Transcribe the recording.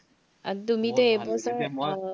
আৰু তুমি